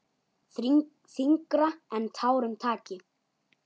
Þyngra en tárum taki!